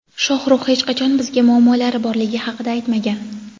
Shohrux hech qachon bizga muammolari borligi haqida aytmagan.